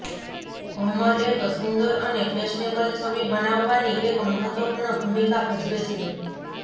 ભમર એક સુંદર અને ફેશનેબલ છબી બનાવવાની એક મહત્વપૂર્ણ ભૂમિકા ભજવે છે